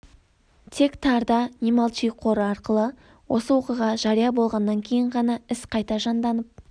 тек тарда не молчи қоры арқылы осы оқиға жария болғаннан кейін ғана іс қайта жанданып